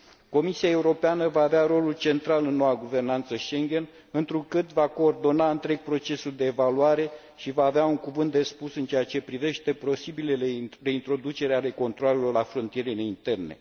Comisia Europeană va avea rolul central în noua guvernanță Schengen, întrucât va coordona întreg procesul de evaluare și va avea un cuvânt de spus în ceea ce privește posibilele reintroduceri ale controalelor la frontierele interne.